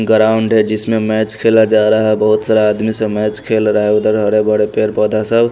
ground है जिसमें match खेला जा रहा बहुत सारा आदमी सा मैच खेल रहा उधर हरा भरा पेड़ पौधा सब--